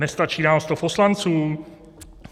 Nestačí nám 100 poslanců?